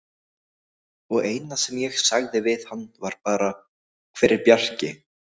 Og eina sem ég sagði við hann var bara: Hver er Bjarki?